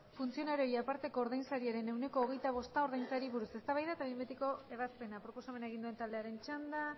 funtzionarioei aparteko ordainsariaren ehuneko hogeita bosta ordaintzeari buruz eztabaida eta behin betiko ebazpena proposamena egin duen taldearen txanda